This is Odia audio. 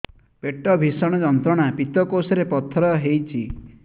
ପେଟ ଭୀଷଣ ଯନ୍ତ୍ରଣା ପିତକୋଷ ରେ ପଥର ହେଇଚି